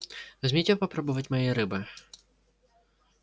возьмите попробовать моей рыбы